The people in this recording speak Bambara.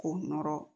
K'o nɔrɔ